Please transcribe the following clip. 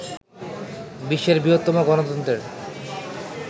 বিশ্বের বৃহত্তম গণতন্ত্রের